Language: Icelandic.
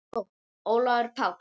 Sókn: Ólafur Páll